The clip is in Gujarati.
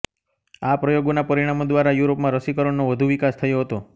આ પ્રયોગોના પરિણામો દ્વારા યુરોપમાં રસીકરણનો વધુ વિકાસ થયો હતો